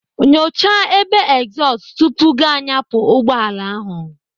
Nyocha ebe egzọọst tupu gị anyapụ ụgbọala ahụ.